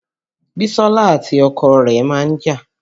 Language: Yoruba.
Bisola àti ọkọ rẹ̀ máa ń jà